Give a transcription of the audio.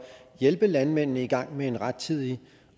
hjælpe landmændene i gang med at iagttage rettidig